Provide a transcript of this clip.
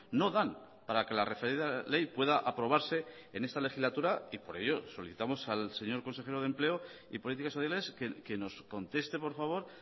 no dan para que la referida ley pueda aprobarse en esta legislatura y por ello solicitamos al señor consejero de empleo y políticas sociales que nos conteste por favor